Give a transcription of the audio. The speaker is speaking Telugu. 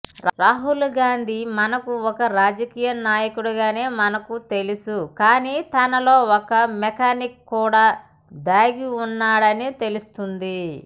రాహుల్ గాంధీ మనకు ఒక రాజకీయనాయకుడిగానే మనకు తెలుసు కానీ తనలో ఒక మెకానిక్ కూడా దాగి ఉన్నాడని తెలుస్తుంది